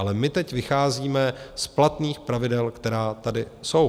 Ale my teď vycházíme z platných pravidel, která tady jsou.